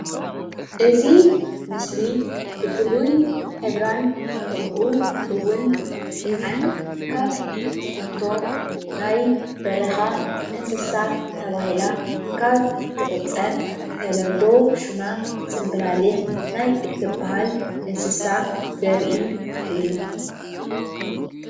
እዚ ምስሊ ብፍሉይ ሕብራን ከምኡ ውን ምልክዓን ካብ እትፍቶ ናይ በርካ እንስሳ ተባሂላ ክብ እትቁጸር ናይ በረካ እንስሳ ዘርኢ ምስሊ እዩ።